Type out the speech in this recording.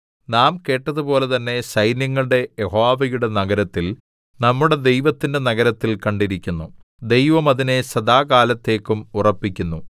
നാം കേട്ടതുപോലെ തന്നെ സൈന്യങ്ങളുടെ യഹോവയുടെ നഗരത്തിൽ നമ്മുടെ ദൈവത്തിന്റെ നഗരത്തിൽ കണ്ടിരിക്കുന്നു ദൈവം അതിനെ സദാകാലത്തേക്കും ഉറപ്പിക്കുന്നു സേലാ